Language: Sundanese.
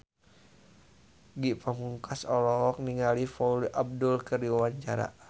Ge Pamungkas olohok ningali Paula Abdul keur diwawancara